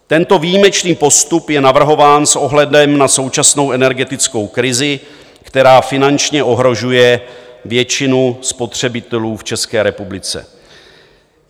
Tento výjimečný postup je navrhován s ohledem na současnou energetickou krizi, která finančně ohrožuje většinu spotřebitelů v České republice.